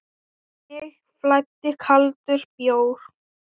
Um mig flæddi kaldur bjór.